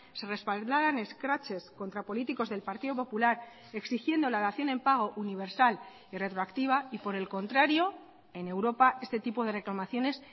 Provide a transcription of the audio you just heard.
se respaldaran escraches contra políticos del partido popular exigiendo la dación en pago universal y retroactiva y por el contrario en europa este tipo de reclamaciones